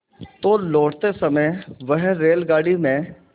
तो लौटते समय वह रेलगाडी में